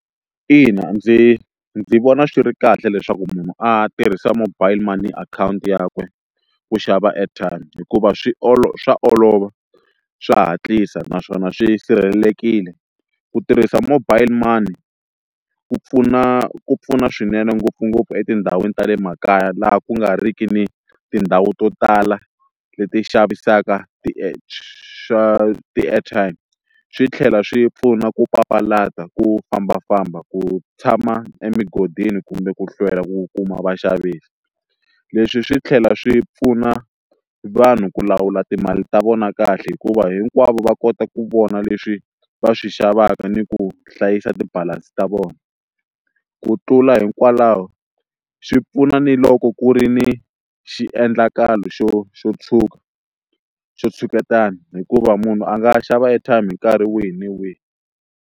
Ina ndzi ndzi vona swi ri kahle leswaku munhu a tirhisa mobile money akhawunti yakwe ku xava airtime hikuva swi swa olova swa hatlisa naswona swi sirhelelekile, ku tirhisa mobile money ku pfuna ku pfuna swinene ngopfungopfu etindhawini ta le makaya laha ku nga riki ni tindhawu to tala leti xavisaka swa ti-airtime, swi tlhela swi pfuna ku papalata ku fambafamba ku tshama emugodini kumbe ku hlwela ku kuma vaxavisi, leswi swi tlhela swi pfuna vanhu ku lawula timali ta vona kahle hikuva hinkwavo va kota ku vona leswi va swi xavaka ni ku hlayisa ti-balance ta vona, ku tlula hikwalaho xi pfuna ni loko ku ri ni xiendlakalo xo xo tshuka xo tshuketana hikuva munhu a nga xava airtime hi nkarhi wihi na wihi.